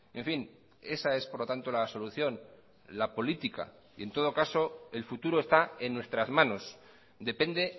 en fin esa es por lo tanto la solución la política y en todo caso el futuro está en nuestras manos depende